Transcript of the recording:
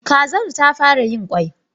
Kazar ta fara yin kwai.